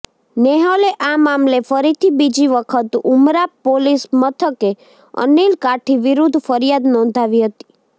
નેહલે આ મામલે ફરીથી બીજી વખત ઉમરા પોલીસ મથકે અનિલ કાઠી વિરુદ્ધ ફરિયાદ નોંધાવી હતી